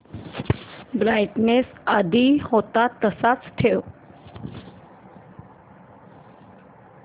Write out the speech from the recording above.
brightness आधी होता तसाच ठेव